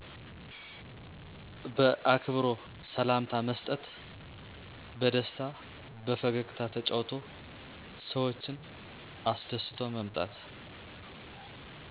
በአክብሮ ሰላምታ መሰጠት በደስታ በፈገግታ ተጫውቶ ሰዎችን አሰደስቶ መምጣት።